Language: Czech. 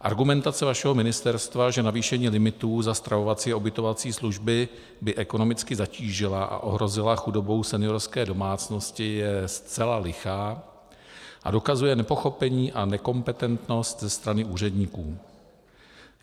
Argumentace vašeho ministerstva, že navýšení limitů za stravovací a ubytovací služby by ekonomicky zatížila a ohrozila chudobou seniorské domácnosti, je zcela lichá a dokazuje nepochopení a nekompetentnost ze strany úředníků.